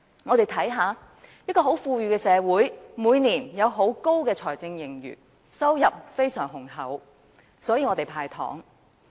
香港是一個很富裕的社會，政府每年有大量財政盈餘，收入非常豐厚，所以能夠"派糖"。